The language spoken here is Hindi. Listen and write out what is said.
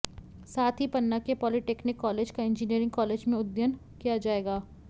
साथ ही पन्ना के पॉलीटेक्निक कॉलेज का इंजीनियरिंग कॉलेज में उन्नयन किया जायेगा